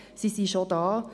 Sie sind schon da.